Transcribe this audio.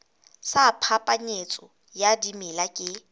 sa phapanyetso ya dimela ke